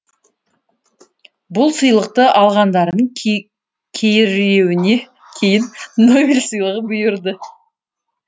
бұл сыйлықты алғандардың кейіреуіне кейін нобель сыйлығы бұйырды